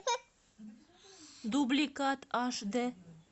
дубликат аш д